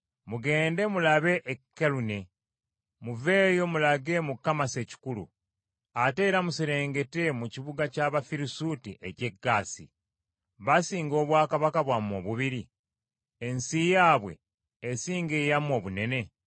Mugende mulabe e Kalune; muveeyo mulage mu Kamasi ekikulu, ate era muserengete mu kibuga ky’Abafirisuuti eky’e Gaasi. Basinga obwakabaka bwammwe obubiri? Ensi yaabwe esinga eyammwe obunene?